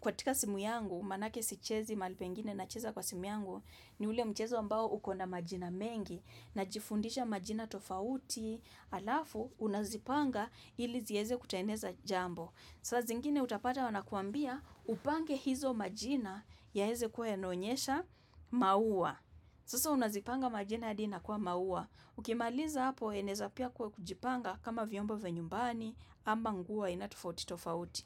katika simu yangu, manake sichezi mahali pengine na cheza kwa simu yangu, ni ule mchezo ambao ukona majina mengi, na jifundisha majina tofauti, alafu, unazipanga ili zieze kutengeneza jambo. Saa zingine utapata wanakuambia upange hizo majina yaweze kuwa yanaonyesha maua. Sasa unazipanga majina hadi inakuwa maua. Ukimaliza hapo eneza pia kujipanga kama viombo vya nyumbani ama nguo aina tofauti tofauti.